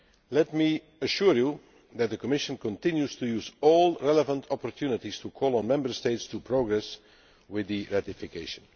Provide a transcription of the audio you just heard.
Let me assure you that the Commission continues to use all relevant opportunities to call on Member States to progress with ratification.